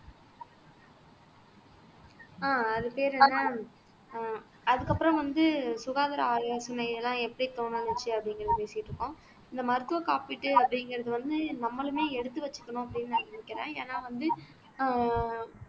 ஆஹ் அது பேரு என்ன ஆஹ் அதுக்கப்புறம் வந்து சுகாதார ஆலோசனையெல்லாம் எப்படி தொடங்குச்சு அப்படிங்கறதை பேசிட்டு இருக்கோம் இந்த மருத்துவ காப்பீட்டு அப்படிங்கிறது வந்து நம்மளுமே எடுத்து வச்சுக்கணும் அப்படின்னு நான் நினைக்கிறேன் ஏன்னா வந்து ஆஹ்